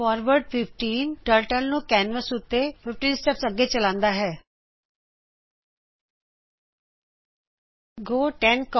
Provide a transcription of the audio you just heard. forward 15Turtleਨੂੰ canvas ਉੱਤੇ 15 steps ਅੱਗੇ ਵਦੱਦਾ ਹੈਂ